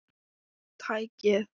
Lemur tækið.